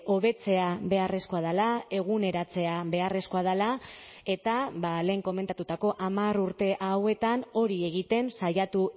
hobetzea beharrezkoa dela eguneratzea beharrezkoa dela eta lehen komentatutako hamar urte hauetan hori egiten saiatu